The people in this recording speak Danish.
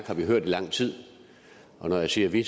har vi hørt i lang tid og når jeg siger vi